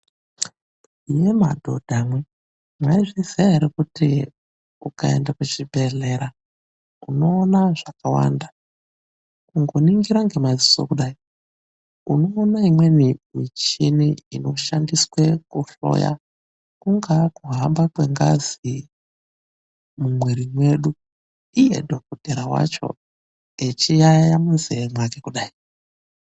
Imimi madhodha imwi, mwaizviziya ere kuti ukaende kuchibhedhlera unoona zvakawanda. Kungoningira ngemaziso kudai, unoona imweni michini inoshandiswe kuhloya kungave kuhamba kwengazi mumwiri mwedu. Iye dhokodheya wacho echiyayeya munzeye mwake kudayi.